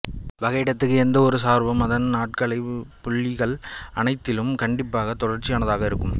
வகையிடத்தக்க எந்தவொரு சார்பும் அதன் ஆட்களப் புள்ளிகள் அனைத்திலும் கண்டிப்பாகத் தொடர்ச்சியானதாக இருக்கும்